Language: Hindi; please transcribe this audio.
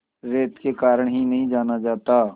रेत के कारण ही नहीं जाना जाता